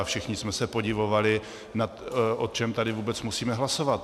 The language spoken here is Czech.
A všichni jsme se podivovali, o čem tady vůbec musíme hlasovat.